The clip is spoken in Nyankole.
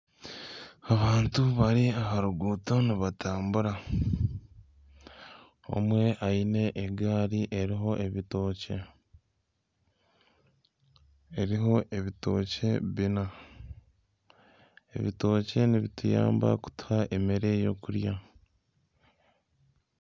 Abantu bari aha ruguuto nibatambura, omwe aine egaari eriho ebitookye. Eriho ebitookye bina, ebitookye nibituyamba kutuha ebyokurya